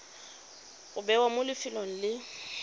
go bewa mo lefelong le